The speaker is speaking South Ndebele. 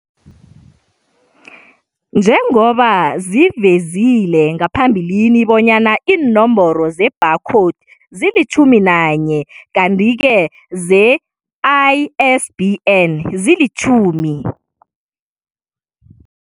Njengoba sivezile ngaphambilini bonyana iinomboro ze-bar code zilitjhumi nanye kanti ke ze-ISBN zilitjhumi.